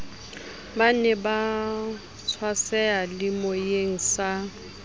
ba ne ba tswaseyalemoyeng sa